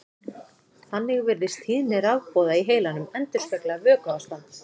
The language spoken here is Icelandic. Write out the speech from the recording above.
Þannig virðist tíðni rafboða í heilanum endurspegla vökuástand.